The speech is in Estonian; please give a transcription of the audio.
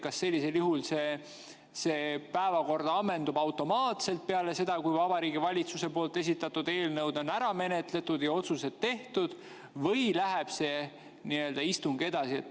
Kas sellisel juhul päevakord ammendub automaatselt peale seda, kui Vabariigi Valitsuse esitatud eelnõud on ära menetletud ja otsused tehtud, või läheb see istung edasi?